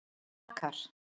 Dakar